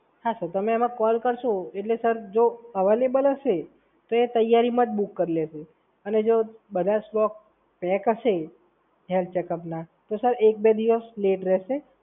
હા સર, તમે એને કોલ કરશો એટલે સર જો આવેલેબલ હશે એટલે તો એ જલ્દી જ બુક કરી લેશે અને જો હેલ્થ ચેકઅપના બધા સ્ટોક બ્રેક હશે તો સર એક બે દિવસ લેટ થશે.